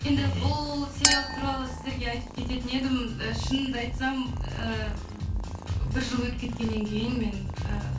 енді бұл сериал туралы сіздерге айтып кететін едім і шынымды айтсам э бір жыл өтіп кеткеннен кейін мен э